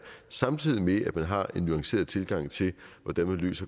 samtidig med at man har en nuanceret tilgang til hvordan